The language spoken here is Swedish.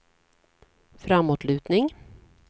framåtlutning